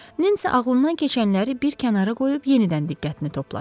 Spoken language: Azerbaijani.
Nensi ağlından keçənləri bir kənara qoyub yenidən diqqətini topladı.